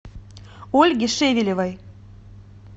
ольге шевелевой